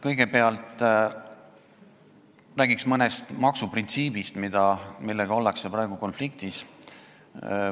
Kõigepealt räägin mõnest maksuprintsiibist, millega ollakse praegu konfliktis.